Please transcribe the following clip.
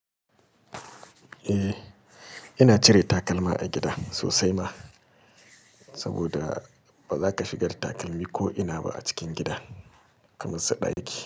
Eh ina cire takalma a gida sosai ma, saboda baza ka shiga da takalmi ko ina ba a cikin gida, kamar su ɗaki.